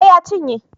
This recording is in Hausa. Eh ya cinye